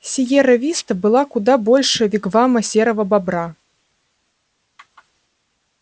сиерра виста была куда больше вигвама серого бобра